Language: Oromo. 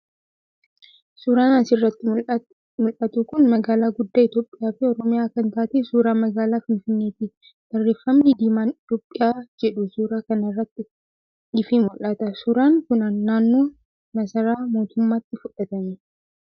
Suuraan as irratti mul'atu kun magaalaa guddaa Itoophiyaa fi Oromiyaa kan taate suuraa magaalaa Finfinnee ti. Barreeffamni diimaan ' Itoophiyaa' jedhu suuraa kana irraa ifee mul'ata. Suuraan kun naannoo masaraa mootumaatti fudhatame.